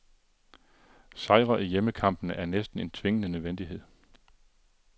Sejre i hjemmekampene er næsten en tvingende nødvendighed.